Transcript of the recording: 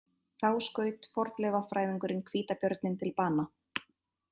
Þá skaut fornleifafræðingurinn hvítabjörninn til bana